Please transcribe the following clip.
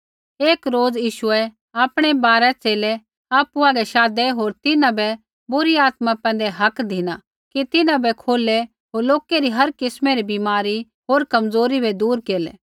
एक रोज़ यीशुऐ आपणै बारा च़ेले आपु हागै शाधै होर तिन्हां बै बुरी आत्मा पैंधै हक धिना कि तिन्हां बै खोलै होर लोकै री हर किस्मै री बीमारी होर कमज़ोरी बै दूर केरलै